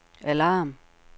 alarm